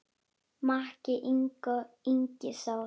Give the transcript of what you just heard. Maki, Ingi Þór.